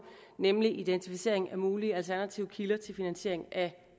nemlig identificering af mulige alternative kilder til finansiering af